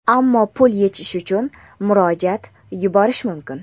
ammo pul yechish uchun murojaat yuborish mumkin.